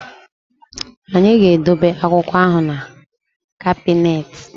Anyị ga-edobe akwụkwọ ahụ na kabịnetị